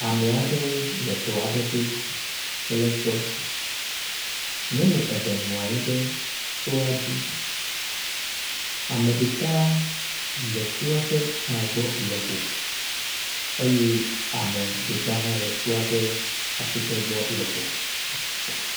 Ame aɖewo le tɔ aɖe to kple sɔ. Nyɔnu eve nɔ anyi ɖe sɔa dzi. ame ɖeka le sɔa ƒe tagbɔ lɔƒo eye ame ɖeka hã le sɔa ƒe asikɖgbɔ lɔƒo.